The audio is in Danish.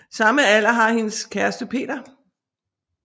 Samme alder har hendes kæreste Peter